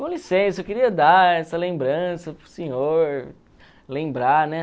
Com licença, eu queria dar essa lembrança para o senhor, lembrar, né?